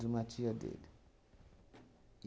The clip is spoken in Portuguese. de uma tia dele.